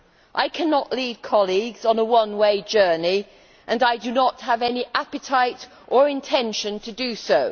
I cannot lead colleagues on a one way journey and I do not have any appetite or intention to do so.